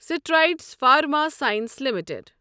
Strides Pharma Science limited